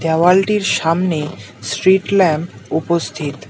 দেওয়ালটির সামনে street lamp উপস্থিত।